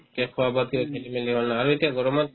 খোৱা-বোৱাত কিবা খেলি-মেলি হ'ল আৰু এতিয়া গৰমত